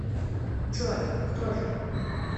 джой кто же